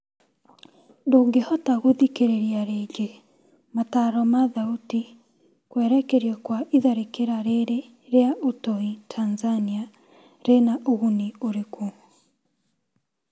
Ndũngĩhota gũthikĩrĩria ringĩ, metaro ma thauti, kwerekerio kwa itharĩkĩra rĩrĩ rĩa ũtoi Tanzania rĩna ũguni ũrĩkũ?